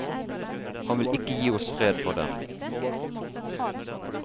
Han vil ikke gi oss fred for dem.